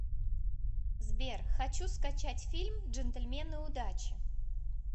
сбер хочу скачать фильм джентльмены удачи